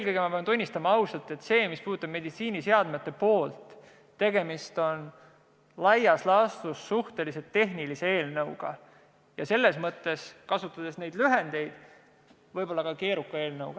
Ma pean ausalt tunnistama, et selles osas, mis puudutab meditsiiniseadmete poolt, on tegemist laias laastus suhteliselt tehnilise eelnõuga ja lühendite kasutamise mõttes võib-olla ka keeruka eelnõuga.